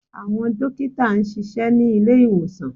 Àwọn dókítà ń ṣiṣẹ́ ní ilé ìwòsàn